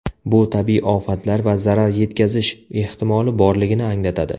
Bu tabiiy ofatlar va zarar yetkazish ehtimoli borligini anglatadi.